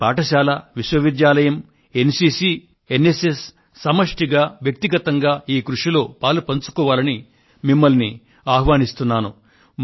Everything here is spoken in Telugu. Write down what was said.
ప్రతి పాఠశాల విశ్వవిద్యాలయం N C C N S S వ్యష్టిగాను సమష్ఠిగాను ఈ కృషిలో పాలుపంచుకోవాలంటూ మిమ్మల్ని నేను ఆహ్వానిస్తున్నాను